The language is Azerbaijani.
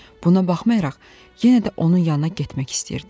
Buna baxmayaraq, yenə də onun yanına getmək istəyirdim.